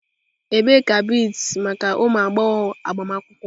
Ebee ka beads maka ụmụ agbọghọ agbamakwụkwọ?